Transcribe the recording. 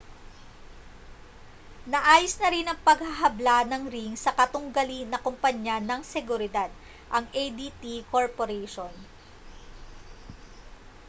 naayos na rin ang paghahabla ng ring sa katunggali na kompanya ng seguridad ang adt corporation